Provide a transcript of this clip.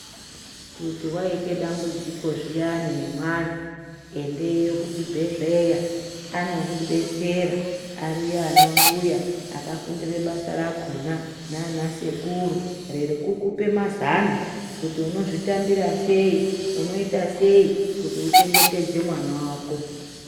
Kuti waite dambudziko zviyani nemwana endeyo kuchibhedhleya anokudetsera ariyo anambuya akafundire basa rakona nana sekuru rerekukupe mazano kuti unozvitambira sei , unoita sei kuti uchengetedze mwana wako.